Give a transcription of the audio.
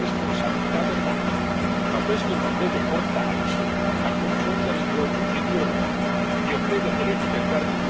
È difficile individuare le responsabilità delle macchine, ma questo non deve portarci a confondere i due ruoli.